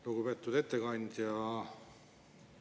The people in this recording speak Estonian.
Lugupeetud ettekandja!